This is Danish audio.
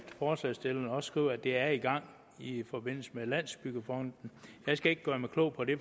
også skriver skriver at det er i gang i forbindelse med landsbyggefonden jeg skal ikke gøre mig klog på det